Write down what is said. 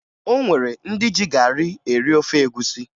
O nwere ndị ji garị eri ofe egwusi